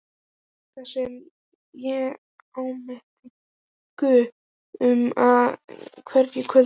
Þetta sem ég áminnti Guð um á hverju kvöldi.